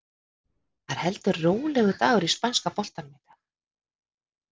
Það er heldur rólegur dagur í spænska boltanum í dag.